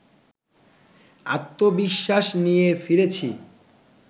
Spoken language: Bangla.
আত্মবিশ্বাস নিয়ে ফিরেছি